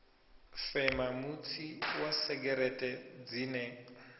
fema mutsi wa segereṱe dzine